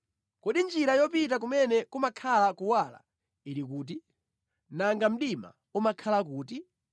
“Kodi njira yopita kumene kumakhala kuwala ili kuti? Nanga mdima umakhala kuti?